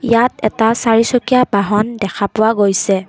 ইয়াত এটা চাৰিচকীয়া বাহন দেখা পোৱা গৈছে।